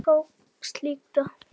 Það tókst líka.